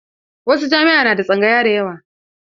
Wasu jami'a na da tsangaya da yawa.